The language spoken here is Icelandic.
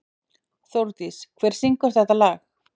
Þórdís, hver syngur þetta lag?